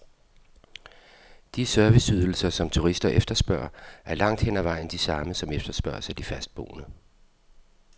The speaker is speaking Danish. De serviceydelser, som turister efterspørger, er langt hen ad vejen de samme, som efterspørges af de fastboende.